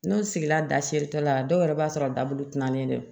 N'o sigila da seere tɔ la dɔw yɛrɛ b'a sɔrɔ dabu tina don